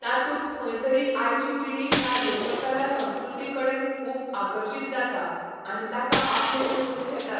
तातूंत खंय तरी आयची पिढी ह्या लोककला लोकसंस्कृती कडेन खूब आकर्शित जाता आनी ताका आपलेंशें करून घेता.